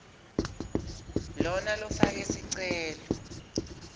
lona lofake sicelo